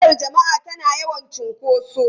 Motar jama'a tana yawan cunkoso.